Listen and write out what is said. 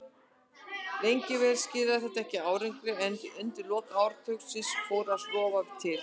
Lengi vel skilaði þetta ekki árangri en undir lok áratugarins fór að rofa til.